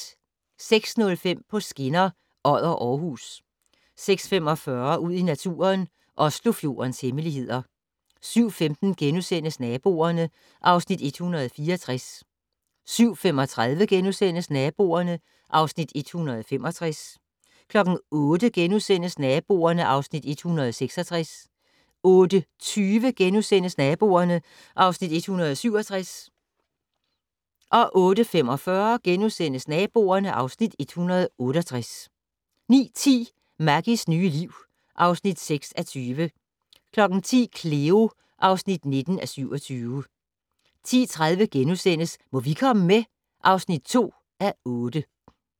06:05: På skinner: Odder-Aarhus 06:45: Ud i naturen: Oslofjordens hemmeligheder 07:15: Naboerne (Afs. 164)* 07:35: Naboerne (Afs. 165)* 08:00: Naboerne (Afs. 166)* 08:20: Naboerne (Afs. 167)* 08:45: Naboerne (Afs. 168)* 09:10: Maggies nye liv (6:20) 10:00: Cleo (19:27) 10:30: Må vi komme med? (2:8)*